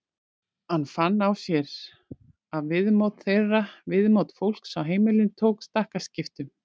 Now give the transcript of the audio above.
Hann fann á sér að viðmót þeirra, viðmót fólks á heimilinu tók stakkaskiptum.